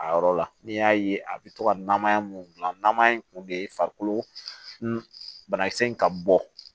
A yɔrɔ la n'i y'a ye a bɛ to ka namaya mun gilan namaya in kun de ye farikolo banakisɛ in ka bɔ